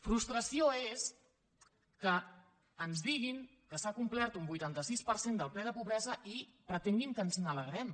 frustració és que ens diguin que s’ha complert un vuitanta sis per cent del ple de pobresa i pretenguin que ens n’alegrem